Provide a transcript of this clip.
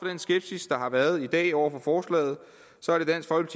den skepsis der har været i dag over for forslaget